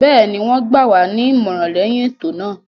Bẹ́ẹ̀ni, wọ́n gbà wá ní ìmọ̀ràn lẹyìn ètò náà.